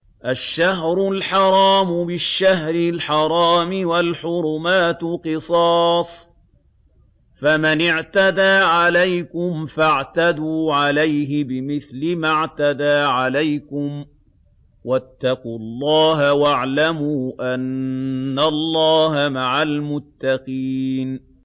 الشَّهْرُ الْحَرَامُ بِالشَّهْرِ الْحَرَامِ وَالْحُرُمَاتُ قِصَاصٌ ۚ فَمَنِ اعْتَدَىٰ عَلَيْكُمْ فَاعْتَدُوا عَلَيْهِ بِمِثْلِ مَا اعْتَدَىٰ عَلَيْكُمْ ۚ وَاتَّقُوا اللَّهَ وَاعْلَمُوا أَنَّ اللَّهَ مَعَ الْمُتَّقِينَ